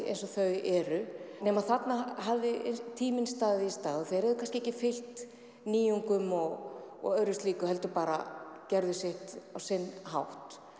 eins og þau eru nema þarna hafði tíminn staðið í stað og þeir höfðu kannski ekki fylgt nýjungum og öðru slíku heldur bara gerðu sitt á sinn hátt